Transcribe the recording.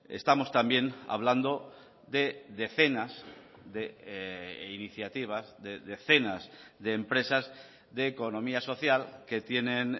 estamos también hablando de decenas de iniciativas de decenas de empresas de economía social que tienen